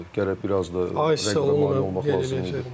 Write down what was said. Gərək biraz da rəqibə mane olmaq lazım idi.